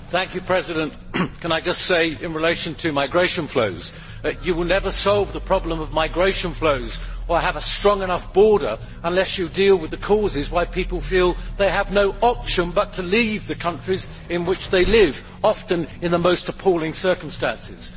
Madam President, can I just say in relation to migration flows that you will never solve the problem of migration flows or have a strong enough border unless you deal with the causes why people feel they have no option but to leave the countries in which they live, often in the most appalling circumstances.